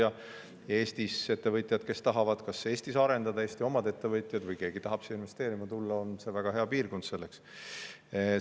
Ja kui Eestis on oma ettevõtjaid, kes tahavad Eestis arendada, või keegi tahab siia investeerima tulla, siis neile on see selleks väga hea piirkond.